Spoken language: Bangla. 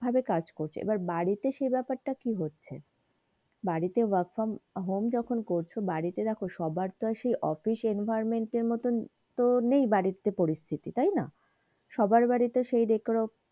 কাজ করছো এইবার বাড়িতে তে সেই ব্যাপার তা কি হচ্ছে বাড়িতে work from home যখন করছো বাড়িতে দেখো সবার তো সেই অফিস environment এর মতন তো নেই বাড়িতে পরিস্থিতি তাইনা? সবার বাড়িতে সেই decorum,